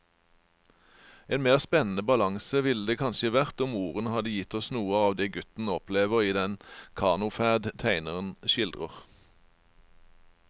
En mer spennende balanse ville det kanskje vært om ordene hadde gitt oss noe av det gutten opplever i den kanoferd tegneren skildrer.